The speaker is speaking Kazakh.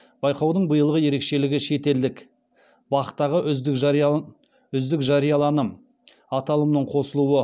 байқаудың билығы ерекшелігі шетелдік бақ тағы үздік жарияланым аталымының қосылуы